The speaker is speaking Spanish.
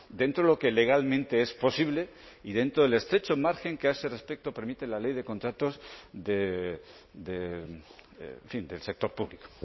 dentro de lo que legalmente es posible y dentro del estrecho margen que a ese respecto permite la ley de contratos de en fin del sector público